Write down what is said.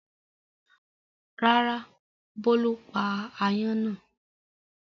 Rárá, Bólú pa aáyán náà.